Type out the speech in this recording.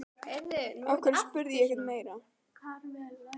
Af hverju spurði ég ekki eitthvað meira?